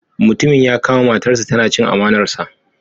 Mutumin ya kama matarsa tana chin amanarsa.